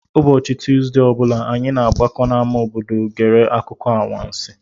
Ụbọchị Tuuzdee ọ bụla, anyị na-agbakọ n'ámá obodo gere akụkọ anwansi.